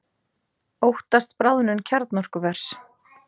Óttast bráðnun kjarnorkuvers